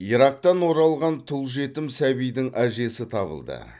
ирактан оралған тұл жетім сәбидің әжесі табылды